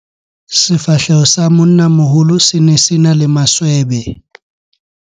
Sefahleho sa monnamoholo se ne se na le maswebe.